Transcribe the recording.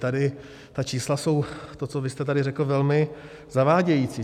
Tady ta čísla jsou, to, co vy jste tady řekl, velmi zavádějící.